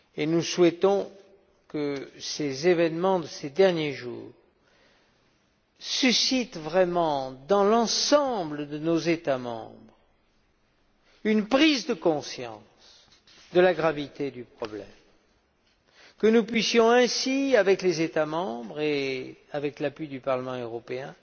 Nous souhaitons que les événements de ces derniers jours suscitent, dans l'ensemble de nos États membres, une prise de conscience de la gravité du problème, et que nous puissions ainsi, avec les États membres et avec l'appui du Parlement européen,